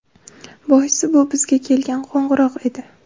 Boisi, bu bizga kelgan qo‘ng‘iroq edi.